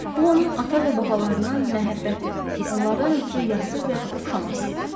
Bu onun ata və babalarından məhəbbəti, onlardan ötrü yası və oxşaması idi.